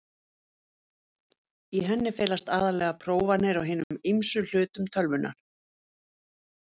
Í henni felast aðallega prófanir á hinum ýmsu hlutum tölvunnar.